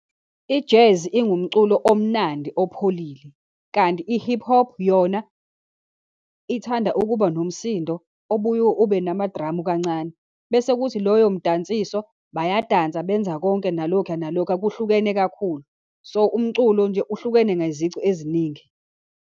I-jazz ingumculo omnandi opholile, kanti i-hip hop yona ithanda ukuba nomsindo obuye ube namadramu kancane, bese kuthi loyo mdansiso, bayadansa, benza konke nalokhuya nalokhuya, kuhlukene kakhulu. So, umculo nje uhlukene ngezici eziningi.